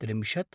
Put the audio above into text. त्रिंशत्